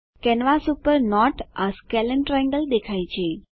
canvas પર note એ સ્કેલને ટ્રાયેંગલ દેખાય છે